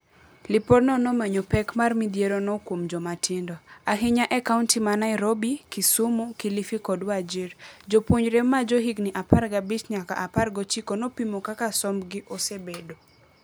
Lipod no nomenyo pek mar midhiero no kuom jomatindo, ahinya e kaunti ma Nairobi, Kisumu, Kilifi kod Wajir. Jopuonjre ma johigni apar gabich nyaka apar gochiko nopimo kaka somb gi osebedo.